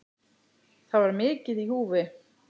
Það var mikið í húfi.